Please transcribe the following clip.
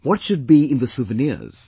What should be in the souvenirs